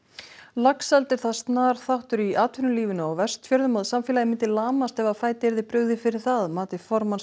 laxeldi er það snar þáttur í atvinnulífinu á Vestfjörðum að samfélagið myndi lamast ef fæti yrði brugðið fyrir það að mati formanns